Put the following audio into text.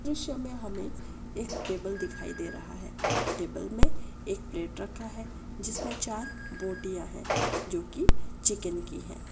दृश्य में हमें एक टेबल दिखाई दे रहा है टेबल में एक प्लेट रखा है जिसमें चार बोटियां है जो कि चिकन की है।